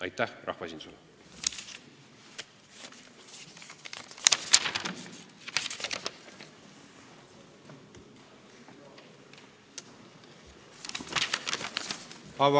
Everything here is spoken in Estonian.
Aitäh rahvaesindusele!